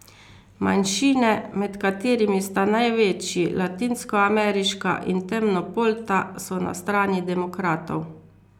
Manjšine, med katerimi sta največji latinskoameriška in temnopolta, so na strani demokratov.